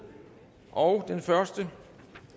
og den første